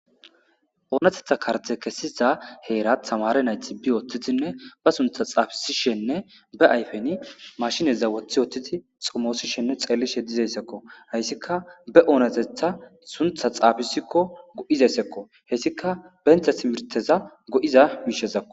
oonetetha karte kessiza heera tamare nayti bi ooththitinne ba suntha xaafisishenne be ayfeni mashineza woththi wothtiti xumoosishenne xellishe dizessekko hayssikka be oonotetha suntha xaafisikko go7izessekko hessika bentha simirteza go7iza miishezakko